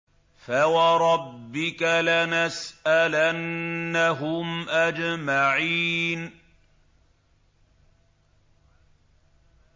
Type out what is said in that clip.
فَوَرَبِّكَ لَنَسْأَلَنَّهُمْ أَجْمَعِينَ